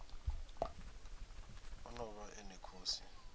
o ḓo vha ene khosi